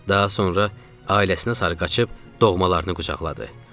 Daha sonra ailəsinə sarı qaçıb doğmalarını qucaqladı.